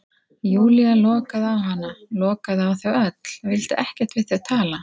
Júlía lokaði á hana, lokaði á þau öll, vildi ekkert við þau tala.